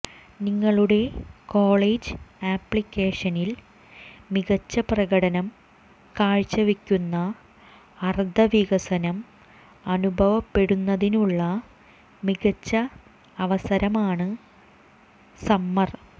നിങ്ങളുടെ കോളേജ് ആപ്ലിക്കേഷനിൽ മികച്ച പ്രകടനം കാഴ്ചവെക്കുന്ന അർഥവികസനം അനുഭവപ്പെടുന്നതിനുള്ള മികച്ച അവസരമാണ് സമ്മർ